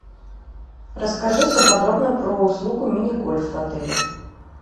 расскажи все подробно про услугу мини гольф в отеле